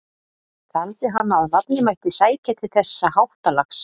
Taldi hann að nafnið mætti sækja til þessa háttalags.